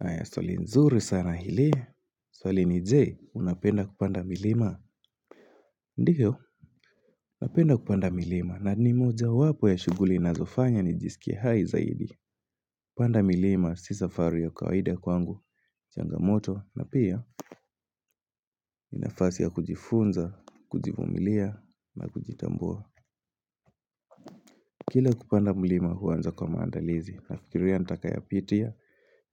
Aya stoli nzuri sana ili, stoli ni je, unapenda kupanda milima? Ndivyo napenda kupanda milima na ni mojawapo ya shuguli inazofanya ni jisikie hai zaidi. Kupanda milima si safari ya kawaida kwangu, changamoto na pia ni nafasi ya kujifunza, kujivumilia na kujitambua. Kila kupanda mlima huanza kwa maandalizi. Nafikiria ntakayopitia,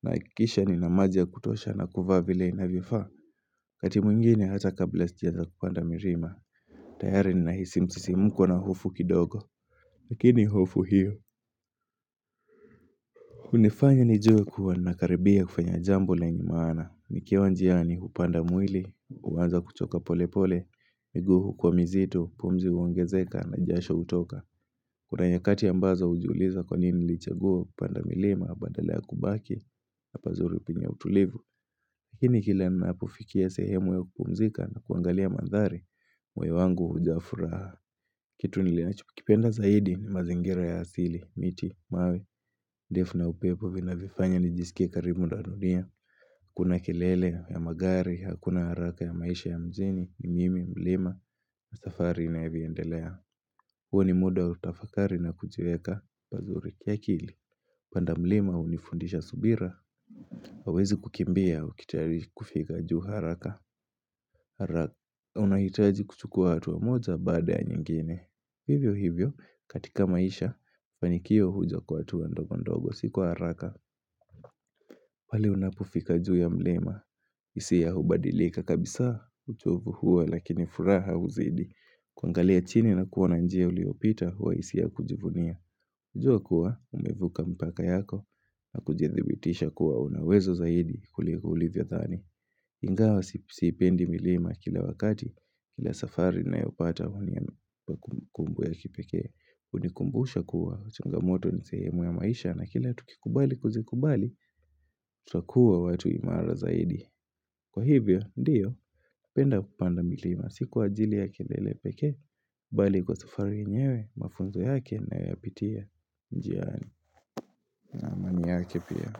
nahikisha nina maji ya kutosha na kuvaa vile inavyofaa. Wakati mwingine hata kabla sijaanza kupanda mirima, tayari ninahisi msisimko na hofu kidogo, lakini hofu hiyo unifanya nijue kuwa nakaribia kufanya jambo lenye maana. Nikiwa njiani upanda mwili uanza kuchoka pole pole miguu kwa mizito, pumzi uongezeka na jasho hutoka Kuna nyakati ambazo ujiuliza kwa nini nilichagua kupanda milima badala ya kubaki. Hapa zuri upinya utulivu. Lakini kila ninapofikia sehemu ya kupumzika na kuangalia mandhari, moyo wangu hujaa furaha. Kitu ninachokipenda zaidi ni mazingira ya asili, miti, mawe defu na upepo vinavifanya nijisike karibu na dunia, hakuna kelele ya magari, hakuna haraka ya maisha ya mjini ni mimi mlima na safari inavyoendelea huo ni muda wa kutafakari na kujiweka pazuri kiakili. Panda mlima unifundisha subira hauwezi kukimbia ukitari kufika juu haraka. Haraka unahitaji kuchukua hatua moja baada ya nyingine Hivyo hivyo katika maisha panikio huja kwa hatua ndogo ndogo si kwa haraka. Pale unapofika juu ya mlima, hisia hubadilika kabisa uchovu hua lakini furaha uzidi kuangalia chini na kuona njia uliopita hua hisia ya kujivunia. Hujua kuwa, umevuka mpaka yako na kujidhibitisha kuwa una uwezo zaidi kuliko ulivyothani. Ingawa siipendi milima kila wakati, kila safari nayopata unipa kumbukumbu ya kipekee. Unikumbusha kuwa changamoto ni sehemu ya maisha na kila tukikubali kuzikubali Tutakua watu imara zaidi. Kwa hivyo, ndiyo penda kupanda milima si kwa ajili ya kelele pekee bali kwa safari yenyewe, mafunzo yake nayopitia njiani na amani yake pia.